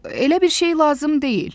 elə bir şey lazım deyil.